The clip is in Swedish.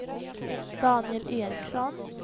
Daniel Eriksson